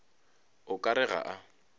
o ka re ga a